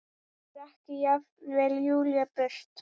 Rak jafnvel Júlíu burt.